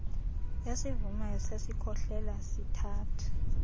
esivumayo sesikhohlela sithatha